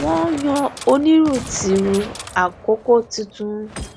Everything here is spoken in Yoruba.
wọn yan onírun tirun àkókò tuntun